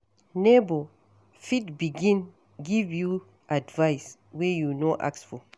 Neighbour fit begin give you advise wey you no ask for